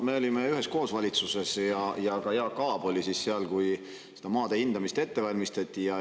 Me olime üheskoos valitsuses ja ka Jaak Aab oli siis seal, kui seda maade hindamist ette valmistati.